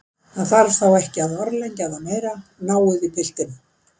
Það þarf þá ekki að orðlengja það meira, náið í piltinn.